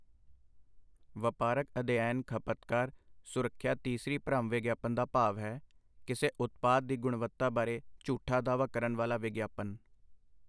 ਵਪਾਰਕ ਅਧਿਐਨ ਖਪਤਕਾਰ ਸੁਰੱਖਿਆ ਤੀਸਰੀ ਭਰਮ ਵਿਗਿਆਪਨ ਦਾ ਭਾਵ ਹੈ, ਕਿਸੇ ਉਤਪਾਦ ਦੀ ਗੁਣਵੱਤਾ ਬਾਰੇ ਝੂਠਾ ਦਾਅਵਾ ਕਰਨ ਵਾਲਾ ਵਿਗਿਆਪਨ।